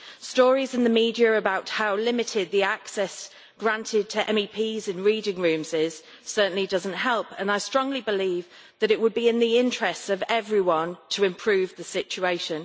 Stories in the media about how limited the access granted to MEPs in reading rooms is certainly does not help and I strongly believe that it would be in the interests of everyone to improve the situation.